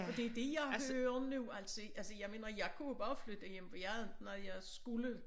Fordi det jeg hører nu altså altså jeg mener jeg kunne jo bare flytte hjem for jeg havde noget jeg skulle